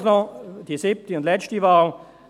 Schliesslich noch die siebte und letzte Wahl: